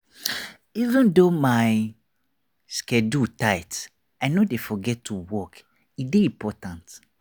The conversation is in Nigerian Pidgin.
even though my schedule tight i no dey forget to walk e dey important.